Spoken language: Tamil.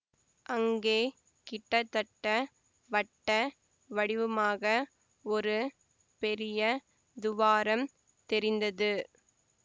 அங்கே கிட்டதட்ட வட்ட வடிவமாக ஒரு பெரிய துவாரம் தெரிந்தது